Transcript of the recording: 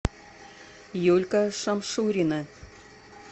юлька шамшурина